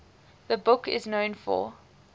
the book is known for